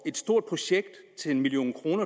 stort projekt til en million kroner